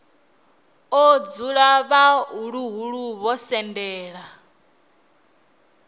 o dzula vhaḓuhulu vho sendela